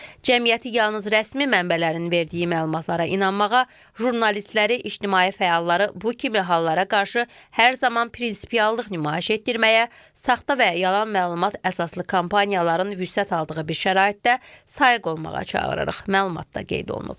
Cəmiyyəti yalnız rəsmi mənbələrin verdiyi məlumatlara inanmağa, jurnalistləri, ictimai fəalları bu kimi hallara qarşı hər zaman prinsipiallıq nümayiş etdirməyə, saxta və yalan məlumat əsaslı kampaniyaların vüsət aldığı bir şəraitdə sayıq olmağa çağırırıq, məlumatda qeyd olunub.